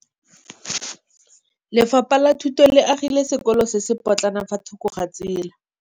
Lefapha la Thuto le agile sekôlô se se pôtlana fa thoko ga tsela.